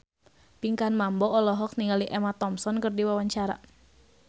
Pinkan Mambo olohok ningali Emma Thompson keur diwawancara